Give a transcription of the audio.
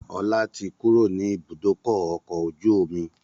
Ọlá tí kúrò ní ibùdókọ̀ ọkọ̀ ojú omi